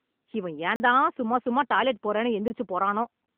இவன் ஏன் தான் சும்மா சும்மா டாய்லெட் போறேன்னு எந்திரிச்சு போறானோ